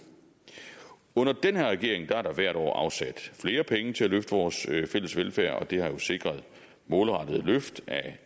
under den her regering er der hvert år afsat flere penge til at løfte vores fælles velfærd og det har jo sikret målrettede løft af